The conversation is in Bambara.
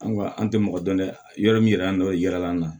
An ka an tɛ mɔgɔ dɔn dɛ yɔrɔ min yɛrɛ y'an dɔ ye yɛrɛla naa